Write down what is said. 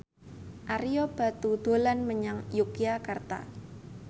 Ario Batu dolan menyang Yogyakarta